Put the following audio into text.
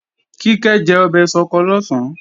Kíkẹ́ jẹ ọbẹ̀ ṣọkọ lọ̀sán